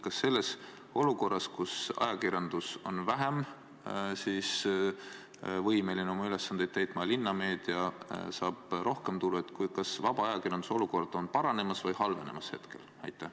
Kas selles olukorras, kus ajakirjandus on vähem võimeline oma ülesandeid täitma, aga linnameedia saab rohkem tulu, vaba ajakirjanduse olukord on paranemas või halvenemas?